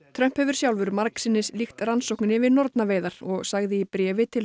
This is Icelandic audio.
Trump hefur sjálfur margsinnis líkt rannsókninni við nornaveiðar og sagði í bréfi til